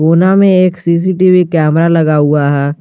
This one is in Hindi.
कोना में एक सी_सी_टी_वी कैमरा लगा हुआ है।